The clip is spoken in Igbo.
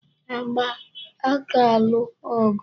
Agba aka alụ ọgụ?